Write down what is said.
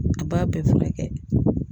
A b'a bɛɛ furakɛ